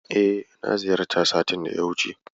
E, na ziyarta satin da ya wuce.